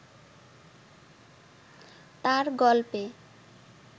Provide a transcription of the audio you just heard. তাঁর গল্পে